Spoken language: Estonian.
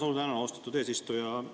Suur tänu, austatud eesistuja!